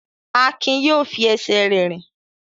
Akin yóò fi ẹsẹ̀ rẹ̀ rìn!